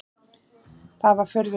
Það var furðu létt.